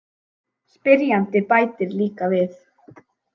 Spyrjandi bætir líka við: